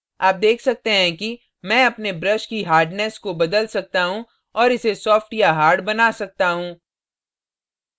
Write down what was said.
आप देख सकते हैं कि मैं अपने brush की hardness hardness को बदल सकता you और इसे softer या harder बना सकता you